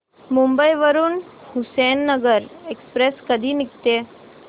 मुंबई वरून हुसेनसागर एक्सप्रेस कधी निघते